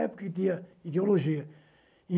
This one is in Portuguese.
É porque tinha ideologia.